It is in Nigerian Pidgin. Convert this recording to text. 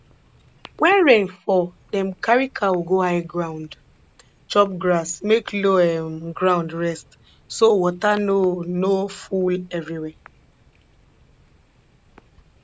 wen rain fall dem carry cow go high ground chop grass make low um ground rest so water no no full everywhere